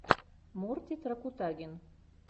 мортид ракутагин